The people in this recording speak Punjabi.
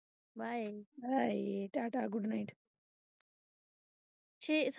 Bye tata good night.